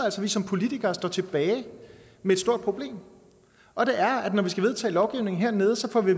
at vi som politikere står tilbage med et stort problem og det er at når vi skal vedtage lovgivning hernede får vi